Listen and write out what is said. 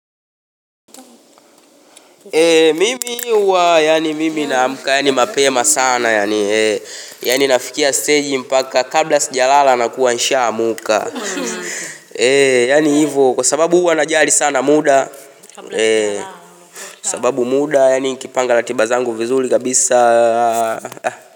Ee mimi huwa yaani mimi naamka yaani mapema sana yaani, yaani nafikia steji mpaka kabla sijalala nakuwa nishaamka, ee yaani hivo kwa sababu huwa najali sana muda, kwa sababu muda yaani kipanga ratiba zangu vizuri kabisa.